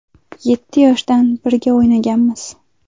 Yetti yoshdan birga o‘ynaganmiz.